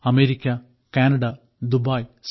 America Canada Dubai